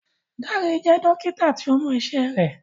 Dare jẹ́ Dókítà tíó Mo iṣé rẹ.